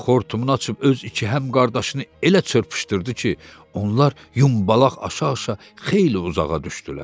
O, xortumunu açıb öz iki həmqardaşını elə çırpışdırdı ki, onlar yumbalaq aşa-aşa xeyli uzağa düşdülər.